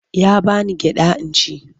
Ya ba ni gyaɗa in ci.